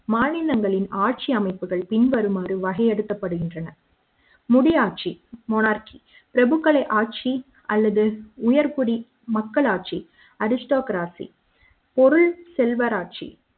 மாநிலங்களின் ஆட்சி அமைப்புகள் பின்வருமாறு வகைப்படுத்தப்படுகின்றன முடியாட்சி மோனார்கீ பிரபுக்களின் ஆட்சி அல்லது உயர் குடி மக்களாட்சி அரிஸ்டோகிராபி பொருள் செல்வராட்ச்சி